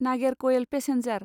Nagercoil passenger